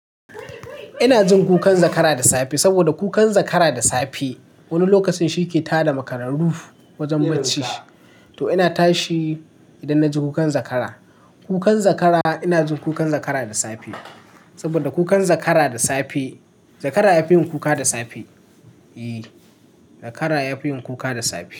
Ina jin kukan zakara da safe saboda kukan zakara da safe wani lokacin shi ke tada makararru wajen barci. To ina tashi idan na ji kukan zakara. Kukan zakara ina jin kukan zakara da safe saboda kukan zakara da safe, zakara ya fi yin kuka da safe. E, zakara ya fi yin kuka da safe.